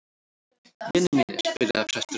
Vinir mínir, byrjaði presturinn.